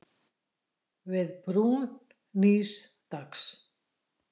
Við brún nýs dags.